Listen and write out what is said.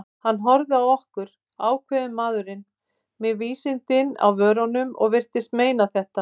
Hann horfði á okkur, ákveðinn maðurinn, með vísindin á vörunum- og virtist meina þetta.